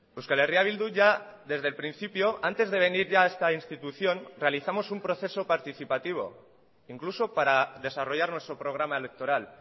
euskal herria bildu ya desde el principio antes de venir ya a esta institución realizamos un proceso participativo incluso para desarrollar nuestro programa electoral